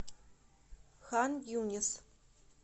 хан юнис